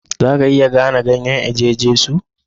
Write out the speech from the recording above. Za a iya gane ganyen eje Jesu?